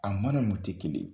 A mana ninnu tɛ kelen